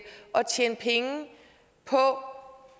at tjene penge på